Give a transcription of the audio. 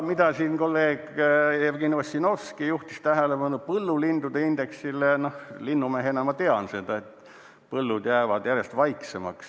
Millele kolleeg Jevgeni Ossinovski juhtis tähelepanu, põllulindude indeksile, no linnumehena ma tean seda, et põllud jäävad järjest vaiksemaks.